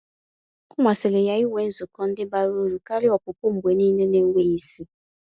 Ọ masịrị ya ịnwe nzukọ ndị bara ụrụ karịa ọpụpụ mgbe niile n'enweghị isi.